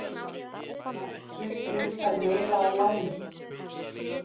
Landsvirkjun fær meira að láni